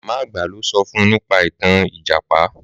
Màmá àgbà lo sọ fún nípa ìtàn Ìjàpá.